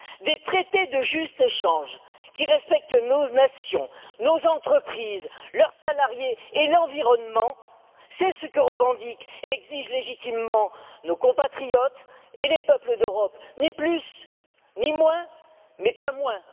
Des traités de juste échange qui respectent nos nations, nos entreprises, leurs salariés et l'environnement, c'est ce que revendiquent et exigent légitimement nos compatriotes et les peuples d'Europe, ni plus, ni moins, mais pas moins.